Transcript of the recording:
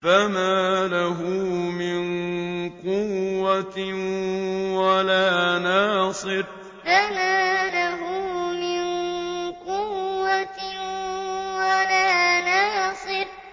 فَمَا لَهُ مِن قُوَّةٍ وَلَا نَاصِرٍ فَمَا لَهُ مِن قُوَّةٍ وَلَا نَاصِرٍ